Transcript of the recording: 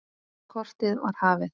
Kortið var horfið!